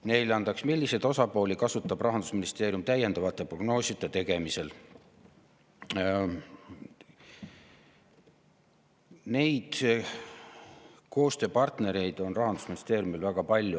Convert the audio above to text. Neljandaks: "Milliseid osapooli kasutab Rahandusministeerium täiendaval eri prognooside tegemisel ?" Koostööpartnereid on Rahandusministeeriumil väga palju.